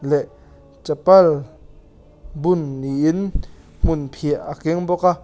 leh chapal bun niin hmunphiah a keng bawka --